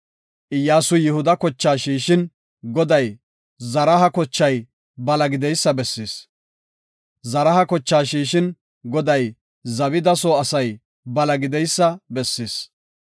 Iyyasuy Yihuda kochaa shiishin, Goday Zaraha kochay bala gideysa bessis. Zaraha kochaa shiishin, Goday Zabida soo asay bala gideysa bessis.